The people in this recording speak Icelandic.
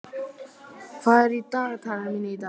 Þura, hvað er í dagatalinu mínu í dag?